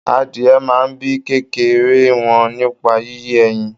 Adìyẹ máa n bíi kékeré wọn nípa yíyé ẹyìn.